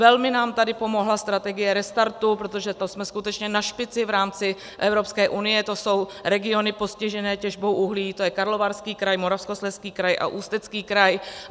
Velmi nám tady pomohla strategie Restartu, protože to jsme skutečně na špici v rámci Evropské unie, to jsou regiony postižené těžbou uhlí, to je Karlovarský kraj, Moravskoslezský kraj a Ústecký kraj.